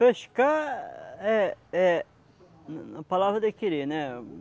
Pescar é é na palavra de querer, né?